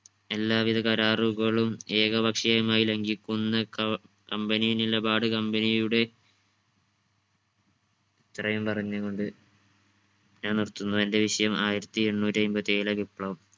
എലാവിധ കരാറുകളും ഏകപക്ഷീയമായി ലങ്കിക്കുന്ന ക company നിലപാട് company യുടെ ഇത്രയും പറഞ്ഞു കൊണ്ട് ഞാൻ നിർത്തുന്നു എന്റെ വിഷയം ആയിരത്തി എണ്ണൂറ്റി അയ്മ്പത്തി ഏഴിലെ വിപ്ലവം.